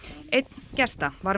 einn gesta var